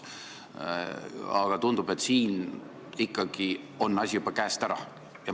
Aga tundub, et siin on asi juba käest ära.